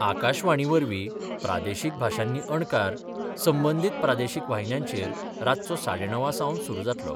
आकाशवाणीवरवीं प्रादेशीक भाशांनी अणकार संबंधीत प्रादेशीक वाहिन्यांचेर रातचो साडेणवांसावन सुरु जातलो.